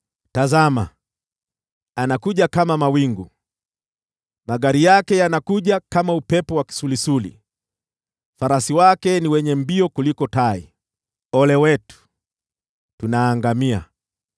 Tazama! Anakuja kama mawingu, magari yake yanakuja kama upepo wa kisulisuli, farasi wake wana mbio kuliko tai. Ole wetu! Tunaangamia!